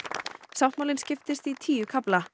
sáttmálinn skiptist í tíu kafla